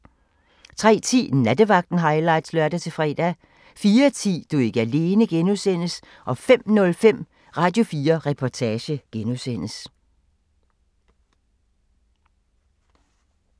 03:10: Nattevagten highlights (lør-fre) 04:10: Du er ikke alene (G) 05:05: Radio4 Reportage (G)